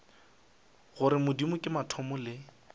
gore modimo ke mathomo le